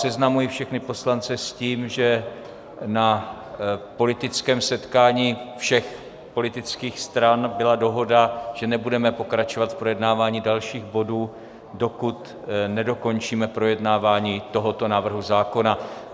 Seznamuji všechny poslance s tím, že na politickém setkání všech politických stran byla dohoda, že nebudeme pokračovat v projednávání dalších bodů, dokud nedokončíme projednávání tohoto návrhu zákona.